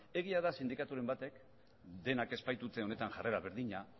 egia da sindikaturen batek denak ez baitute honetan jarrera berdina